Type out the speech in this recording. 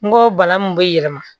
N go bana min be yɛlɛma